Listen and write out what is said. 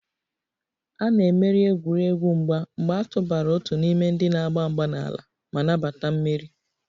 A na-emeri egwuregwu mgba mgbe a tụbara otu n'ime ndị na-agba mgba n'ala ma nabata mmeri